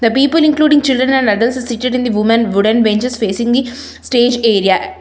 The people including children and adults included is seated in the woman wooden benches facing the stage area.